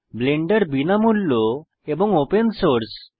Blender বিনামূল্য এবং open source